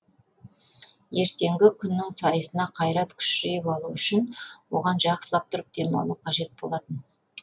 ертеңгі күннің сайысына қайрат күш жиып алу үшін оған жақсылап тұрып дем алу қажет болатын